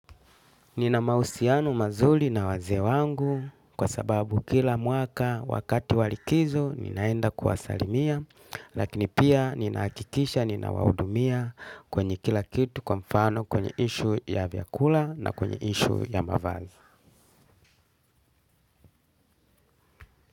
Nina mahusiano mazuri na wazee wangu kwa sababu kila mwaka wakatu wa likizo ninaenda kusalimia lakini pia ninahakikisha nina wahudumia kwenye kila kitu kwa mfano kwenye issue ya vyakula na kwenye issue ya mavazi.